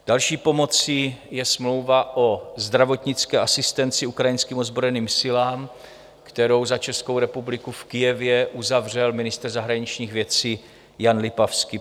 Další pomocí je smlouva o zdravotnické asistenci ukrajinským ozbrojeným silám, kterou za Českou republiku v Kyjevě uzavřel ministr zahraničních věcí Jan Lipavský.